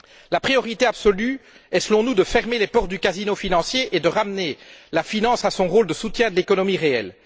La priorité absolue est, selon nous, de fermer les portes du casino financier et de ramener la finance à son rôle de soutien de l'économie réelle.